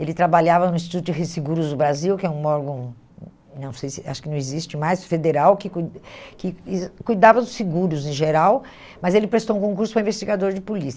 Ele trabalhava no Instituto de do Brasil, que é um órgão, hum não sei se acho que não existe mais, federal, que cui que cuidava dos seguros em geral, mas ele prestou um concurso para investigador de polícia.